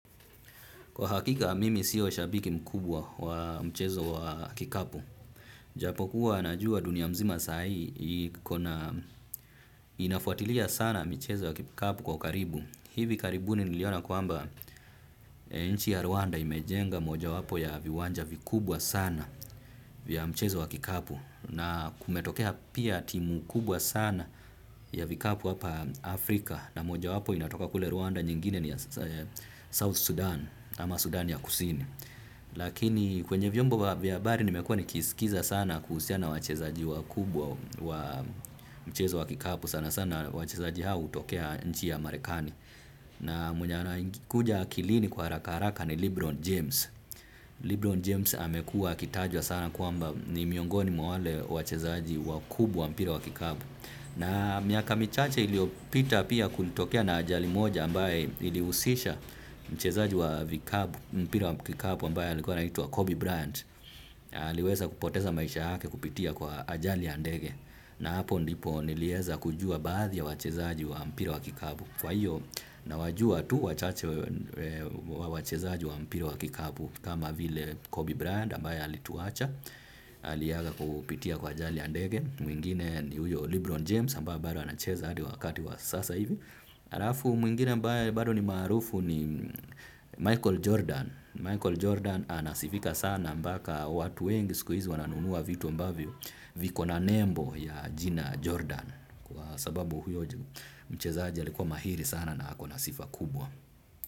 Kwa hakika, mimi sio shabiki mkubwa wa mchezo wa kikapu. Japo kuwa najua dunia mzima saa hii inafuatilia sana mchezo wa kikapu kwa karibu. Hivi karibuni niliona kwamba nchi ya Rwanda imejenga moja wapo ya viwanja vikubwa sana vya mchezo wa kikapu. Na kumetokea pia timu kubwa sana ya vikapu hapa Afrika. Na moja wapo inatoka kule Rwanda nyingine ni South Sudan, ama Sudan ya kusini. Lakini kwenye vyombo vya habari nimekuwa nikisikiza sana kuhusiana na wachezaji wakubwa wa mchezo wa kikapu. Sana sana wachezaji hao hutokea nchi ya marekani. Na mwenye anakuja akilini kwa harakaharaka ni Lebron James. Lebron James amekuwa akitajwa sana kwamba ni miongoni mwa wale wachezaji wakubwa wa mpira wa kikapu. Na miaka michache iliyopita pia kulitokea na ajali moja ambaye ilihusisha mchezaji wa mpira wa kikabu ambaye alikuwa anaitwa Kobe Bryant. Aliweza kupoteza maisha yake kupitia kwa ajali ya ndege na hapo ndipo nilieza kujua baadhi ya wachezaji wa mpira wa kikabu. Kwa hiyo nawajua tu wachache wa wachezaji wa mpira wa kikabu kama vile Kobe Bryant ambaye alituacha. Aliaga kupitia kwa ajali ya ndege. Mwingine ni huyo Libron James ambaye bado anacheza hadi wakati wa sasa hivi. Mwingine ambaye bado ni marufu ni Michael Jordan. Michael Jordan anasifika sana mpaka watu wengi siku hizi wananunua vitu ambavyo viko na nembo ya jina Jordan. Kwa sababu huyo mchezaji alikuwa mahiri sana na hako na sifa kubwa.